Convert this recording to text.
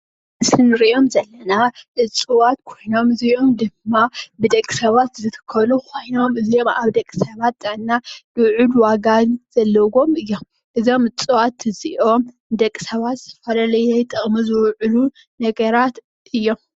ኣብዚ ምስሊ ንሪኦም ዘለና እፅዋት ኮይኖም እዚኦም ድማ ብደቂ ሰባት ዝትከሉ ኮይኖም እዚኦም ኣብ ደቂ ሰባት ጥዕና ሉዑል ዋጋን ዘለዎም እዮም። እዞም እፅዋት እዚኦም ንደቂ ሰባት ዝተፈላለየ ጥቕሚ ዝውዕሉ ነገራት እዮም።